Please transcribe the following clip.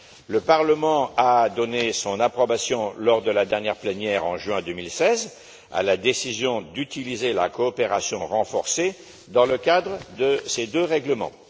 Le Parlement a donné son approbation lors de la dernière plénière, en juin 2016, à la décision d'utiliser la coopération renforcée pour ces deux règlements.